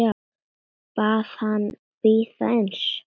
Bað hana að bíða aðeins.